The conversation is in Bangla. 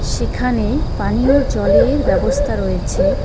সেখানে পানীয় জলের ব্যবস্থা রয়েছে.